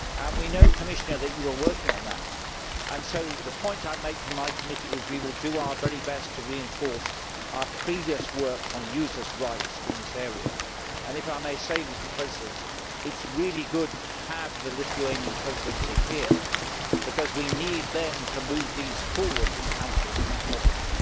We know, Commissioner, that you are working on that and so the point I would make from my committee is that we will do our very best to reinforce our previous work on users' rights in this area. If I may say, it is really good to have the Lithuanian Presidency here because we need it to move this forward in Council as soon as possible.